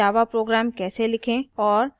java program कैसे लिखें और